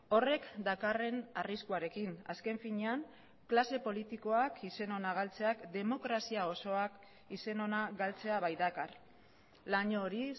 horrek dakarren arriskuarekin azken finean klase politikoak izen ona galtzeak demokrazia osoak izen ona galtzea baitakar laino hori